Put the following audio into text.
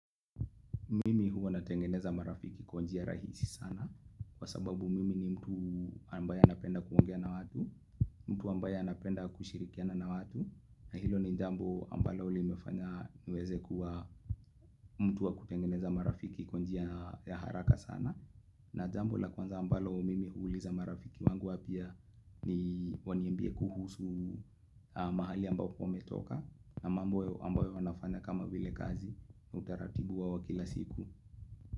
Mimi huwa natengeneza marafiki kwa njia rahisi sana Kwa sababu mimi ni mtu ambaye anapenda kuongea na watu mtu ambaye anapenda kushirikiana na watu na hilo ni jambo ambalo limefanya niweze kuwa mtu wa kutengeneza marafiki kwa njia ya haraka sana na jambo la kwanza ambalo mimi huuliza marafiki wangu wapya ni waniambie kuhusu mahali ambapo ametoka na mambo ambayo wanafanya kama vile kazi utaratibu wao wa kila siku.